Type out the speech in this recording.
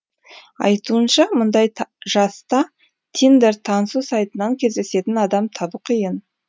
айтуынша мұндай жаста тиндер танысу сайтынан кездесетін адам табу қиын